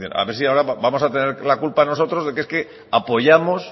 a ver si ahora vamos a tener la culpa nosotros de que es que apoyamos